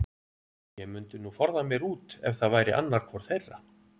Ég mundi nú forða mér út ef það væri annar hvor þeirra.